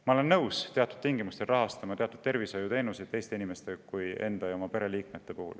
Ma olen nõus teatud tingimustel rahastama teatud tervishoiuteenuseid nii teiste inimeste kui ka enda ja oma pereliikmete puhul.